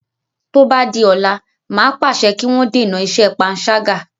Tó bá di ọ̀la, màá pàṣẹ kí wọ́n dènà iṣẹ́ panṣágà.